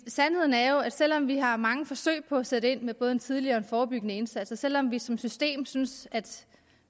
er jo at selv om vi har mange forsøg på at sætte ind med både en tidlig og forebyggende indsats og selv om vi som system synes at